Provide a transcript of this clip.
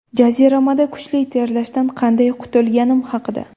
Jaziramada kuchli terlashdan qanday qutilganim haqida.